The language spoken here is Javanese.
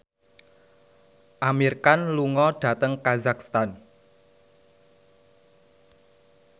Amir Khan lunga dhateng kazakhstan